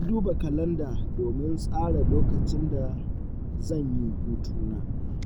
Ya duba kalanda domin tsara lokacin da zan yi hutuna.